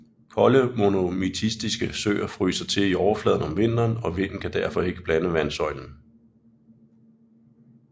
Kolde monomiktiske søer fryser til i overfladen om vinteren og vinden kan derfor ikke blande vandsøjlen